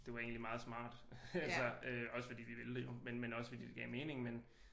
Det var egentlig meget smart altså også fordi vi ville det jo men også fordi det gav mening men